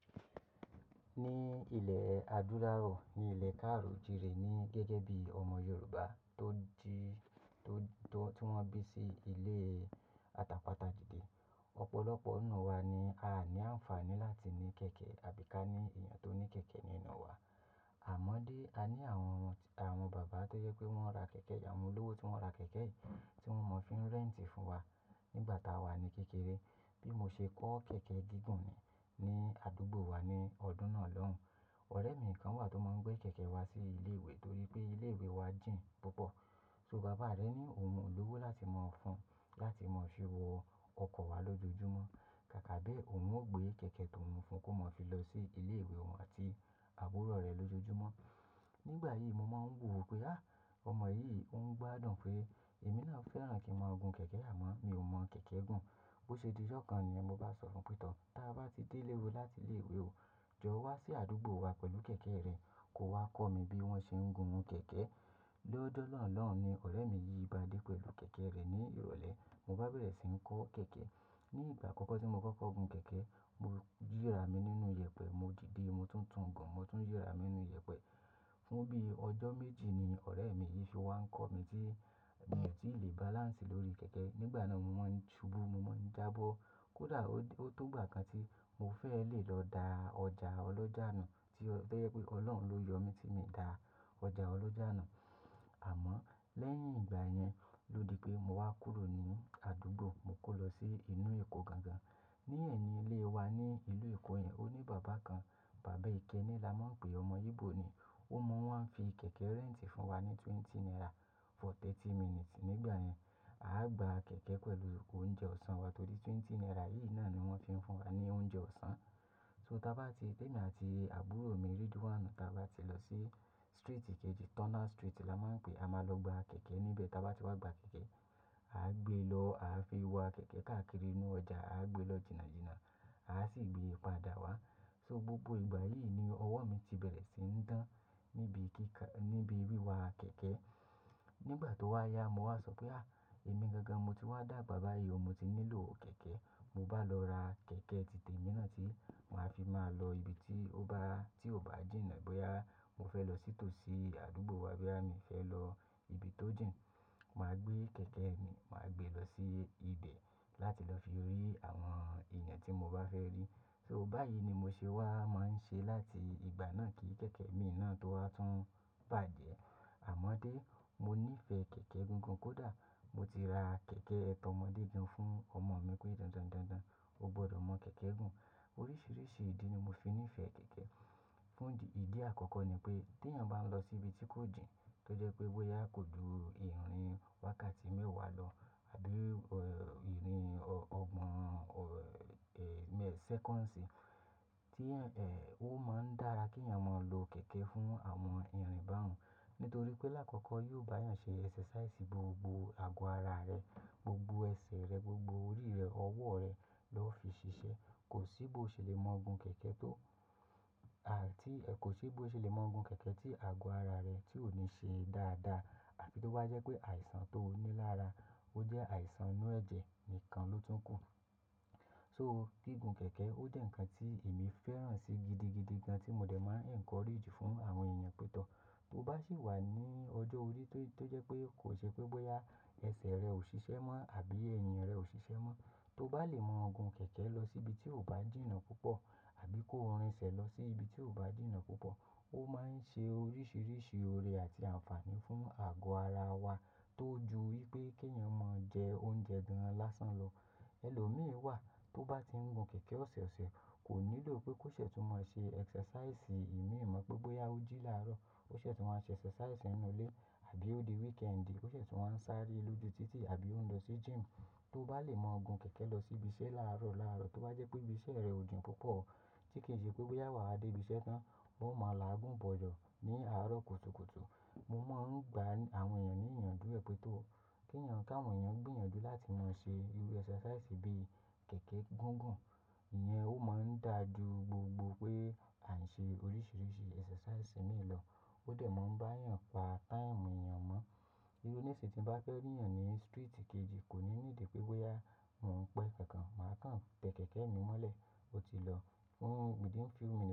Ní ilẹ̀ adúláwọ̀, ní ilẹ̀ káàrijire ni gẹ́gẹ́ bí ọmọ Yorùbá tó tò, tọ́, tí wọ́n bí sí ilé atapata dìde. Ọ̀pọ̀lọpọ̀ nínú wa ni a à ní àǹfààní láti ní kẹ̀kẹ́ àbí ká ní èèyàn tó ní kẹ̀kẹ́ nínú wa. Àmọ́ dé, a ní àwọn ọmọ, àwọn bàbá tó yẹ pé wọ́n ra kẹ̀kẹ́ yà, àwọn olówó tí wọ́n ra kẹ̀kẹ́ yìí tí wọ́n mọ̀ fi ń rẹ́ǹtì fún wa nígbà tá a wà ní kékeré. Bí mo ṣe kọ́ kẹ̀kẹ́ gígùn mi ní àdúgbò wa ní ọdún náà lọ́hùn. Ọ̀rẹ́ mi kan wà tó máa ń gbé kẹ̀kẹ́ wá sí ilé ìwé torí pé ilé ìwé wa jìn púpọ̀. So bàbá rẹ̀ ni òun olówó láti mọ́ ọ fún láti mọ̀ ṣe wọ ọkọ̀ wá lójoojúmọ́. Kàkà bẹ̀ òun ó gbé kẹ̀kẹ́ tó òun fún kó máa fi lọ sí ilé ìwé wọ́n àti àbúrò rẹ̀ lójoojúmọ́. Nígbà yìí mo máa ń wò wò pé, á, ọmọ yìí òun gbádùn pé èmi náà fẹ́ràn kí n máa gun kẹ̀kẹ́ à mọ́, mi ò mọ̀ kẹ̀kẹ́ gùn. Bo ṣe di ijọ́ kan niyẹ̀n mo bá sọ fún pé tọ́, táa bá ti dé ilé o láti ilé ìwé o, jọ wá sí àdúgbò wa pẹ̀lú kẹ̀kẹ́ rẹ, kó wá kọ́ mi bí wọ́n ṣe ń gun kẹ̀kẹ́. Lójo nà lọ́un ni ọ̀rẹ́ mi yìí bá dé pẹ̀lú kẹ̀kẹ́ rẹ̀ ní ìrọ̀lẹ́. Mo bá bẹ̀rẹ̀ sí ń kọ́ kẹ̀kẹ́. Ní ìgbà àkọ́kọ́ tí mo kọ́ kẹ̀kẹ́ gun kẹ̀kẹ́, mo yìra mi nínú ìyẹ̀pẹ̀, mo dìde, mo tún ń tún gan, mo tún yìra mi nínú ìyẹ̀pẹ̀. Fún bí ọjọ́ méjì ni ọ̀rẹ́ mi yìí ṣe wá ń kọ mí tí, ti mi ò tí lè balance lórí kẹ̀kẹ́. Nígbà náà mo máa ń ṣubú, mo máa ń jábọ́. Kódà ó tó gbà kan tí mo fẹ́ lè lọ da ọjà ọlọ́jà nù tí ó jẹ́ pé Ọlọ́run ló yọ mí tí mi o da ọjà ọlọ́jà nù. Àmọ́ lẹ́yìn ìgbà yẹn ló di pé mo wá kúrò ní àdúgbò, mo kó lọ sí inú Èkó gangan. Ní ẹ̀yìn ilé wa ní ìlú Èkó yẹn, ó ní bàbá kan, Bàbá Ikẹni la máa ń pè, ọmọ Igbo ni. Ó mọ́ wá ń fi kẹ̀kẹ́ rẹ́ǹtì fún wa ní twenty naira for thirty minutes nígbà yẹn. A á gba kẹ̀kẹ́ pẹ̀lú oúnjẹ ọ̀sán wa torí twenty naira yìí náà ni wọ́n fi ń fún wa ní oúnjẹ ọ̀sán. So táa bá ti, ti emi àti àbúrò mi, Ridwan, táa bá ti lọ sí street kejì, Turner Street la máa ń pè, a máa lọ gba kẹ̀kẹ́ níbẹ̀. Táa bá ti wá gba kẹ̀kẹ́, a á gbé lọ, a á fi wa kẹ̀kẹ́ káàkiri inú ọjà, a á gbé lọ jìnà jìnà, a á sì gbé padà wá. So gbogbo ìgbà yìí ni ọwọ́ mi ti bẹ̀rẹ̀ sí ń dán níbi kí kà, níbi wí wa kẹ̀kẹ́. Nígbà tó wá ya mo wá sọ pé, á, èmi gangan mo ti wá dà bàyìí o, mo ti nílò kẹ̀kẹ́. Mo bá lọ ra kẹ̀kẹ́ titẹ mi náà tí màá fi máa lọ ibi tí ó bá, tí ò bá jìnà bóyá mo fẹ́ lọ sí tòsí àdúgbò wa boya mí fẹ́ lọ ibi tó jìn. Màá gbé kẹ̀kẹ́ mi, màá gbé lọ sí ibẹ̀ láti lọ fi rí àwọn èèyàn tí mo bá fẹ́ rí. So báyìí ni mo ṣe wá máa ń ṣe láti ìgbà náà kí kẹ̀kẹ́ mi náà tó wá tún bàjẹ́. Àmọ́ dé, mo níìfẹ̀ẹ́ kẹ̀kẹ́ gúgùn kódà mo ti ra kẹ̀kẹ́ tọ mọdé gan fún ọmọ mi pé dandan dandan o gbọdọ̀ mọ̀ kẹ̀kẹ́ gùn. Oríṣiríṣi ìdí ni mo fi níìfẹ̀ẹ́ kẹ̀kẹ́. Fún ìdí àkọ́kọ́ ni pé tí èèyàn bá ń lọ sí ibi tí kò jìn, tó jẹ́ pé bóyá kò ju ìrìn wákàtí mẹ́wàá lọ tàbí ìrìn ọgbọ̀n, ẹ, millisecond tí ẹ̀, ó máa ń dára kí èèyàn máa lo kẹ̀kẹ́ fún àwọn ìrìn bá un nítorí pé láàkọ́kọ́ yóò bá èèyàn ṣe exercise gbogbo àgọ́ ara rẹ̀, gbogbo ẹsẹ̀ rẹ̀, gbogbo orí rẹ̀, ọwọ́ rẹ̀ lọ́ fi ṣiṣẹ́. Kò sí bó o ṣe lè mọ̀ ọ̀ọ̀gun kẹ̀kẹ́ tó, à, tí, kò sí bó o ṣe lè mọ̀ ọ̀ọ̀gun kẹ̀kẹ́ tí àgọ́ ara rẹ tí ò ní ṣe dáadáa àfí tó bá jẹ́ pé àìsàn tó ní lára, ó jẹ́ àìsàn inú ẹ̀jẹ̀ nìkan ló tún kù. So gígùn kẹ̀kẹ́ ó jẹ́ ǹkan tí èmi fẹ́ràn si gidi gidigan tí mo dẹ̀ máa ń encourage fún àwọn èèyàn pé tọ́, bó bá sì wà ní ọjọ́ orí tó, tó jẹ́ pé kò ṣe pé bóyá ẹsẹ̀ rẹ ò ṣiṣẹ́ mọ́ àbí ènìyàn rẹ ò ṣiṣẹ́ mọ́, tó bá lè mọ̀ ọ̀ọ̀gun kẹ̀kẹ́ lọ sí ibi tí ò bá jìnà púpọ̀ àbí kó rin ẹsẹ̀ lọ sí ibi tí ò bá jìnà púpọ̀, ó máa ń ṣe oríṣiríṣi oore àti àǹfààní fún àgọ́ ara wa tó ju wípé kí èèyàn máa jẹ oúnjẹ dúranlásán lọ. Ẹ̀lọ́ mìí wà tó bá ti ń gun kẹ̀kẹ́ ọ̀sẹ̀ ọ̀sẹ̀ kò nílò pé kó ṣẹ̀ tó máa ṣe exercise. Imi mọ̀ pé bóyá ó jí láàárọ̀, ó ṣẹ̀ tó máa ṣe exercise nínú ilé àbí ó di weekend, ó ṣẹ̀ tó máa ń sáré lójú títì àbí ó ń lọ sí gym. Tó bá lè mọ̀ ọ̀ọ̀gun kẹ̀kẹ́ lọ sí ibi iṣẹ́ láàárọ̀ láàárọ̀ tó bá jẹ́ pé ibi iṣẹ́ rẹ ò jìn púpọ̀ tí kì í ṣe pé bóyá wà á dé ibi iṣẹ́ tán, ó máa làágùn bọ̀jọ́ ní àárọ̀ kùtùkùtù. Mo máa ń gba àwọn èèyàn ní ìyànjú ẹ pé tọ́, kí èèyàn ká àwọn èèyàn gbìyànjú láti máa ṣe irú exercise bí i kẹ̀kẹ́ gùgùn. Ìyẹn ó máa ń dà ju gbogbo pé à ń ṣe oríṣiríṣi exercise mìí lọ. Ó dẹ̀ máa ń bá èèyàn pa time èèyàn mọ́. Irú níṣì tí ń bá fẹ́ rí èèyàn ní street kejì kò ní ní ìdí pé bóyá mò ń pẹ́ kankan, màá kàn tẹ kẹ̀kẹ́ mi mọ́lẹ̀, ó ti lọ fún within few minutes.